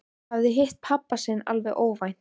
Hafði hitt pabba sinn alveg óvænt.